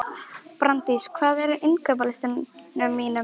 Brandís, hvað er á innkaupalistanum mínum?